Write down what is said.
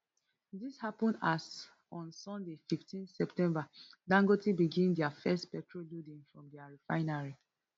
dis happun as on sunday fifteen september dangote begin dia first petrol loading from dia refinery